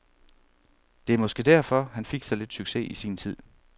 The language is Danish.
Det er måske derfor, han fik så lidt succes i sin tid.